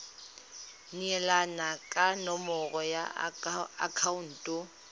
neelana ka nomoro ya akhaonto